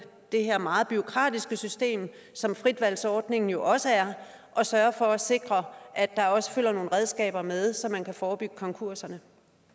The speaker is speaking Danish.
det her meget bureaukratiske system som fritvalgsordningen jo også er at sørge for at sikre at der også følger nogle redskaber med så man kan forebygge konkurserne